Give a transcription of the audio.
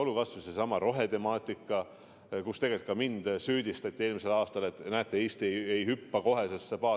Olgu kas või seesama rohetemaatika, mille puhul tegelikult ka mind süüdistati eelmisel aastal, et näete, Eesti ei hüppa kohe sellesse paati.